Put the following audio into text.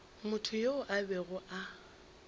motho yoo a bego a